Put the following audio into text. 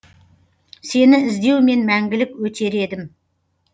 сені іздеумен мәңгілік өтер едім